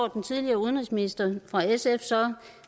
den tidligere udenrigsminister fra sf så